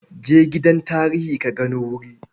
Je gidan tarihi ka gano wuri.